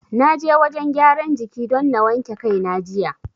Na je wajen gyaran jiki don na wanke kai na jiya.